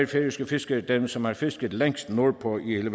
færøske fiskere dem som har fisket længst nordpå vi